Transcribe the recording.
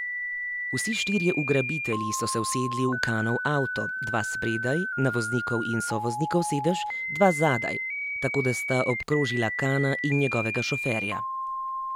Vsi štirje ugrabitelji so se usedli v Kanov avto, dva spredaj, na voznikov in sovoznikov sedež, dva zadaj, tako da sta obkrožila Kana in njegovega šoferja.